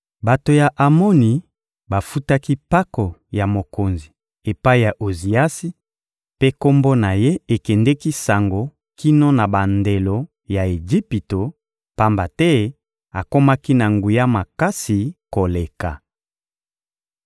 Bato ya Amoni bafutaki mpako ya mokonzi epai ya Oziasi, mpe kombo na ye ekendeki sango kino na bandelo ya Ejipito, pamba te akomaki na nguya makasi koleka.